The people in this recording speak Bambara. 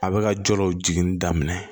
A bɛ ka jɔ law jiginin daminɛ